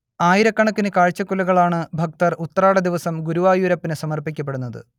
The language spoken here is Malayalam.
ആയിരക്കണക്കിന് കാഴ്ചകുലകളാണ് ഭക്തർ ഉത്രാടദിവസം ഗുരുവായൂരപ്പനു സമർപ്പിക്കപെടുന്നത്